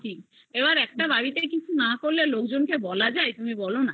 এইবার একটা বাড়িতে কিছু না করলে লোকজন কে বলা যায় তুমি বোলো না